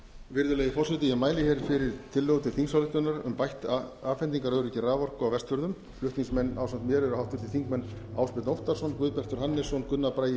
virðulegi forseti ég mæli hér fyrir tillögu til þingsályktunar um bætt afhendingaröryggi raforku á vestfjörðum flutningsmenn ásamt mér eru háttvirtir þingmenn ásbjörn óttarsson guðbjartur hannesson gunnar bragi